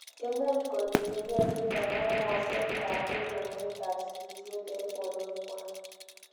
Imuuch kotinyegei chuton ab moseet ab kimnotet ab sigisiet en borweekwak.